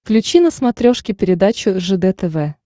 включи на смотрешке передачу ржд тв